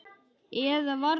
Eða var það reiði?